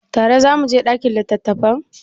Tare za mu je ɗakin littattafan?